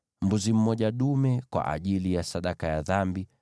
mbuzi dume mmoja kwa ajili ya sadaka ya dhambi;